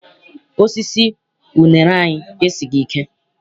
Osisi unere anyị esighị ike.